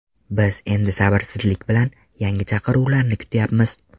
Biz endi sabrsizlik bilan yangi chaqiruvlarni kutyapmiz.